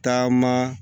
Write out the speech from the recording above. Taama